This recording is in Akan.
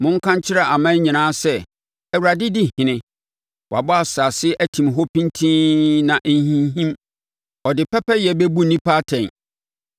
Monka nkyerɛ aman nyinaa sɛ, “ Awurade di ɔhene.” Wɔabɔ asase atim hɔ pintinn na ɛnhinhim; ɔde pɛpɛyɛ bɛbu nnipa atɛn.